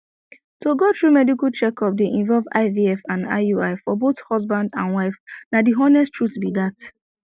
to go through medical checkup dey involve ivf and iui for both husband and wife na the honest truth be that